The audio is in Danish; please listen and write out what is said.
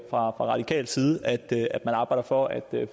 fra radikal side det at man arbejder for at